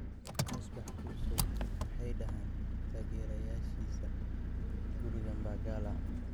Musbax Kusow: Maxay dhahaan taageerayaashiisa guriga Mbagala?